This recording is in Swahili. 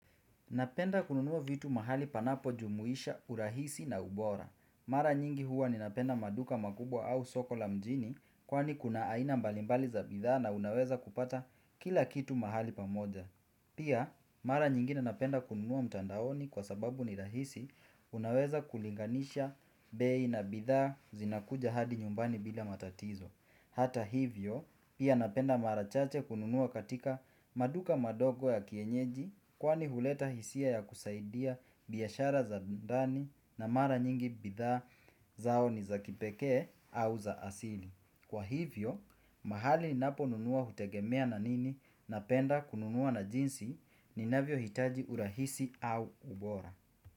Napenda kununua vitu mahali panapo jumuisha urahisi na ubora. Mara nyingi huwa ninapenda maduka makubwa au soko la mjini kwani kuna aina mbali mbali za bidhaa na unaweza kupata kila kitu mahali pamoja. Pia, mara nyingine napenda kununua mtandaoni kwa sababu ni rahisi unaweza kulinganisha bei na bidhaa zinakuja hadi nyumbani bila matatizo. Hata hivyo, pia napenda mara chache kununua katika maduka madogo ya kienyeji kwani huleta hisia ya kusaidia biashara za ndani na mara nyingi bidhaa zao ni za kipekee au za asili. Kwa hivyo, mahali ninapo nunua hutegemea na nini napenda kununua na jinsi ninavyo hitaji urahisi au ubora.